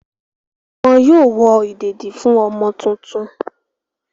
Wọn yóò wọ ìdèdí fún ọmọ tuntun.